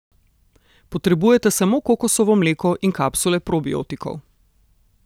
Potrebujete samo kokosovo mleko in kapsule probiotikov.